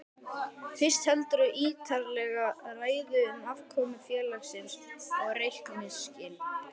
Fyrst heldurðu ítarlega ræðu um afkomu félagsins og reikningsskil.